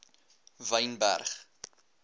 wynberg